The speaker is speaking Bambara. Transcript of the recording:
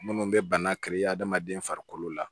Minnu bɛ bana kari adamaden farikolo la